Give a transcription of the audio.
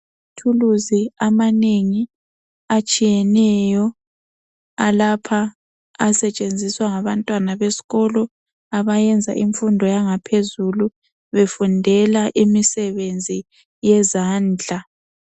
Amathuluzi amanengi atshiyeneyo alapha asetshenziswa ngabantwana besikolo abayenza imfundo yangaphezulu befundela imisebenzi yezandla.